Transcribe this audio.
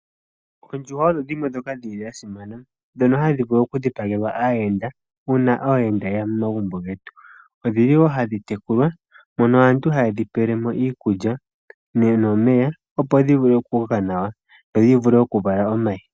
Oondjuhwa odho dhimwe ndhoka dha simana, ndhoka hadhi vulu okudhipagelwa aayenda uuna aayenda ye ya momagumbo getu. Ohadhi tekulwa mono aantu haye dhi pele mo iikulya nomeya, opo dhi vule okukoka nawa dho dhi vule okuvala omayi.